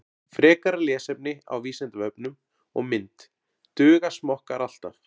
Frekara lesefni á Vísindavefnum og mynd Duga smokkar alltaf?